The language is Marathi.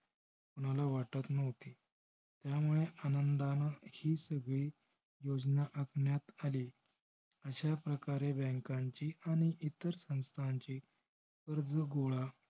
मला वाटत नव्हती. त्यामुळे आनंदानं ही सगळी योजना आखण्यात आली. अश्या प्रकारे bank ची अन इतर संस्थाची कर्ज गोळा